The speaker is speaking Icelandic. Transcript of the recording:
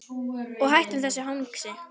Og hættum þessu hangsi.